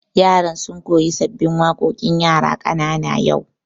Yaran sun koya sabbin waƙoƙin yara ƙanana yau